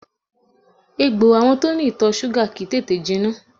Egbò àwọn tó ní ìtọ̀ súgà kìí tètè jiná